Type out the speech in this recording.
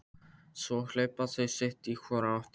Svo hlaupa þau sitt í hvora áttina.